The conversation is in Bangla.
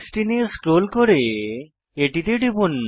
16 এ স্ক্রল করে এটিতে টিপুন